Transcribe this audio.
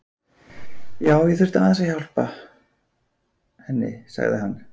Já, ég þurfti aðeins að. hjálpa henni, sagði hann.